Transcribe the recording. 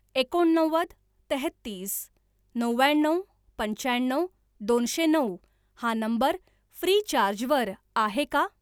एकोणनव्वद तेहतीस नव्याण्णव पंच्याण्णव दोनशे नऊ हा नंबर फ्रीचार्ज वर आहे का?